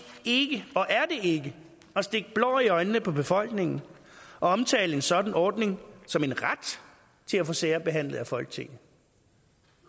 ikke at stikke blår i øjnene på befolkningen at omtale en sådan ordning som en ret til at få sager behandlet af folketinget